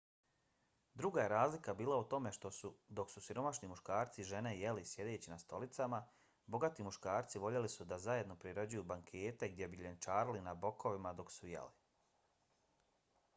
druga je razlika bila u tome što su dok su siromašni muškarci i žene jeli sjedeći na stolicama bogati muškarci voljeli su da zajedno priređuju bankete gdje bi ljenčarili na bokovima dok su jeli